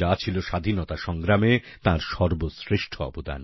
যা ছিল স্বাধীনতা সংগ্রামে তাঁর সর্বশ্রেষ্ঠ অবদান